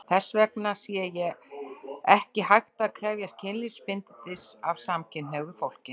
Þess vegna sé ekki hægt að krefjast kynlífsbindindis af samkynhneigðu fólki.